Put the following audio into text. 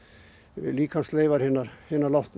líkamsleifar hins látna